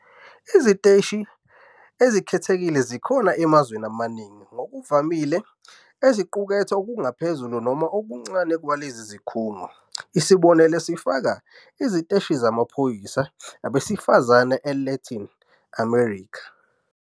Iziteshi ezikhethekile zikhona emazweni amaningi, ngokuvamile eziqukethe okungaphezulu noma okuncane kwalezi zikhungo. Isibonelo sifaka iziteshi zamaphoyisa abesifazane eLatin America.